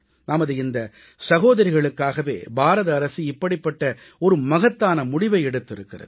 நமது இந்த சகோதரிகளுக்காகவே பாரத அரசு இப்படிப்பட்ட ஒரு மகத்தான முடிவை எடுத்திருக்கிறது